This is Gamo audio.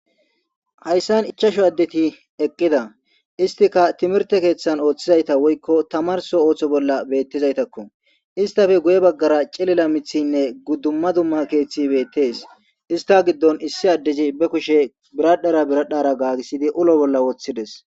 Haysan ichashu adeti eqida issitika timirte kethan othizayta woyko tamarso otho bola betizaytakko issitape guye bagara c'ilila mitinne duma duma kethi betes issta gidon issi adezi ba kushe biradhera biradhera gagisidi ulo bola wotides.